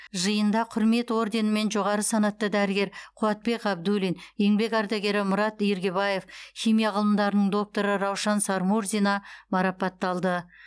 жиында құрмет орденімен жоғары санатты дәрігер қуатбек ғабдуллин еңбек ардагері мұрат иргибаев химия ғылымдарының докторы раушан сармурзина марапатталды